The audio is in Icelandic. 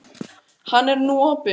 Hann er nú opinn.